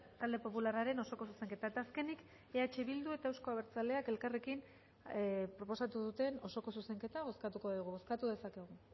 talde popularraren osoko zuzenketa eta azkenik eh bildu eta euzko abertzaleak elkarrekin proposatu duten osoko zuzenketa bozkatuko dugu bozkatu dezakegu